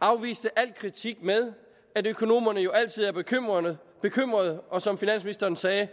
afviste al kritik med at økonomerne jo altid er bekymrede bekymrede og som finansministeren sagde